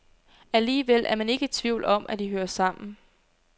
Alligevel er man ikke i tvivl om, at de hører sammen.